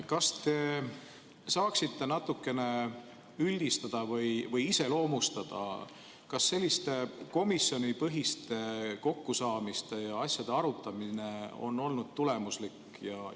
Kas te saaksite natukene üldistada või iseloomustada, kas selliste komisjonipõhiste kokkusaamiste ja asjade arutamine on olnud tulemuslik?